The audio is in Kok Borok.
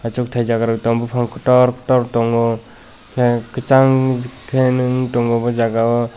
asok taijak bopang kotor tor tongo ke kesang nog tong o jaga o.